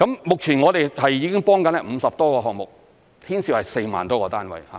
目前我們已經在幫助50多個項目，牽涉4萬多個單位。